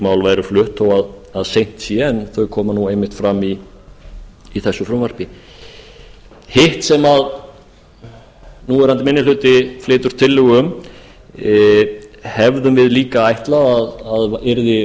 mál væru flutt þó að seint sé en þau koma nú einmitt fram í þessu frumvarpi hitt sem núverandi minni hluti flytur tillögu um hefðum við líka ætlað að yrði